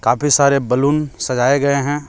काफी सारे बैलून सजाए गए हैं।